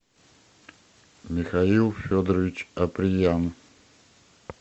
михаил федорович апреян